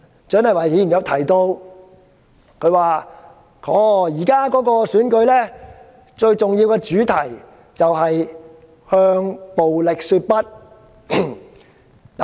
蔣麗芸議員剛才提到，現時最重要的選舉主題是"向暴力說不"。